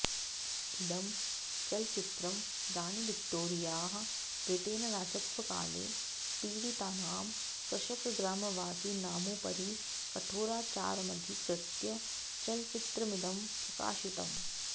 इदं चलचित्रं राज्ञीविक्टोरियाः व्रिटेनरा़जत्वकाले पीडीतानां कृषकग्रामवासीनामुपरि कठोराचारमधिकृत्य चलचित्रमिदं प्रकाशितम्